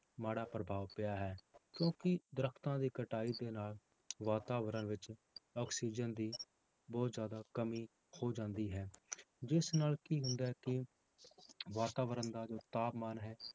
ਮਾੜਾ ਪ੍ਰਭਾਵ ਪਿਆ ਹੈ, ਕਿਉਂਕਿ ਦਰੱਖਤਾਂ ਦੀ ਕਟਾਈ ਦੇ ਨਾਲ ਵਾਤਾਵਰਨ ਵਿੱਚ ਆਕਸੀਜਨ ਦੀ ਬਹੁਤ ਜ਼ਿਆਦਾ ਕਮੀ ਹੋ ਜਾਂਦੀ ਹੈ, ਜਿਸ ਨਾਲ ਕੀ ਹੁੰਦਾ ਹੈ ਕਿ ਵਾਤਾਵਰਨ ਦਾ ਜੋ ਤਾਪਮਾਨ ਹੈ,